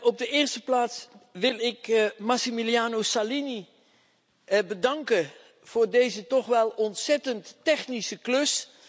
Op de eerste plaats wil ik Massimiliano Salini bedanken voor deze toch wel ontzettend technische klus.